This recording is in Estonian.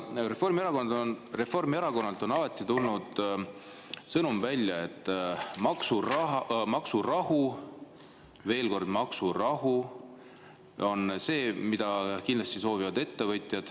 Aga Reformierakonnalt on alati tulnud sõnum, et maksurahu, veel kord, maksurahu on see, mida kindlasti soovivad ettevõtjad.